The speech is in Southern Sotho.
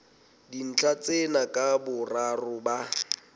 dintlha tsena ka boraro ba